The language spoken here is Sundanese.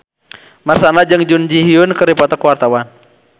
Marshanda jeung Jun Ji Hyun keur dipoto ku wartawan